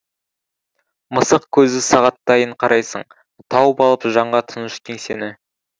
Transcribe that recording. мысық көзді сағаттайын қарайсың тауып алып жанға тыныш кеңсені